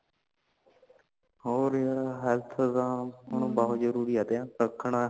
ਹੋਰ ਯਾਰਾ health ਦਾ ਹੁਣ ਬਹੁਤ ਜਾਂਦਾ ਜਰੂਰੀ ਹੈ ਤਿਆਂ ਰੱਖਣਾ